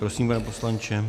Prosím, pane poslanče.